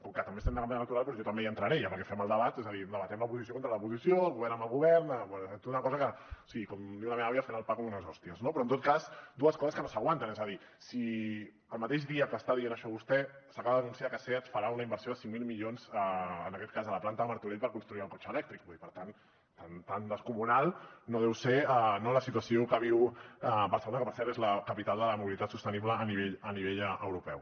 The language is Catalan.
com que també estem de campanya electoral doncs jo també hi entraré ja perquè fem el debat és a dir debatem l’oposició contra l’oposició el govern amb el govern una cosa que sí com diu la meva àvia fent el pa com unes hòsties no però en tot cas dues coses que no s’aguanten és a dir si el mateix dia que està dient això vostè s’acaba d’anunciar que seat farà una inversió de cinc mil milions en aquest cas a la planta de martorell per construir el cotxe elèctric i per tant tan descomunal no deu ser la situació que viu barcelona que per cert és la capital de la mobilitat sostenible a nivell europeu